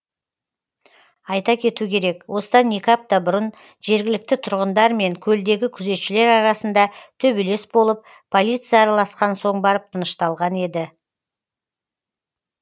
айта кету керек осыдан екі апта бұрын жергілікті тұрғындар мен көлдегі күзетшілер арасында төбелес болып полиция араласқан соң барып тынышталған еді